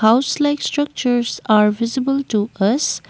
house like structures are visible to us.